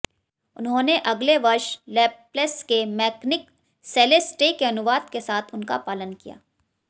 उन्होंने अगले वर्ष लैपलेस के मेकॅनिक सेलेस्टे के अनुवाद के साथ उनका पालन किया